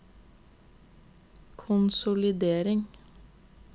konsolidering